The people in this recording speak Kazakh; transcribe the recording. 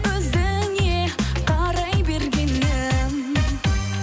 өзіңе қарай бергенім